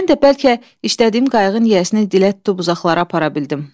Mən də bəlkə işlədiyim qayıqın yiyəsinin dilə tutub uzaqlara apara bildim.